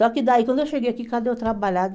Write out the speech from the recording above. Só que daí, quando eu cheguei aqui, cadê o trabalhado?